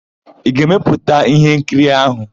Ị ga-emepụta íhénkiri áhụ̀?